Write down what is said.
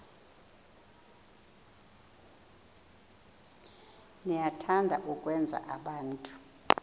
niyathanda ukwenza abantu